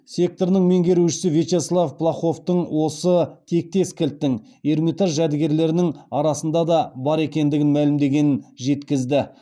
секторының меңгерушісі вячеслова плаховтың осы тектес кілттің эрмитаж жәдігерлерінің арасында да бар екендігін мәлімдегенін жеткізді